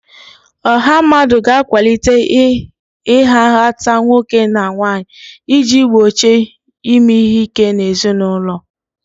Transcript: Ọha mmadụ ga-akwalite ịha nhatanha nwoke na nwanyị iji gbochie ime ihe ike n'ezinụlọ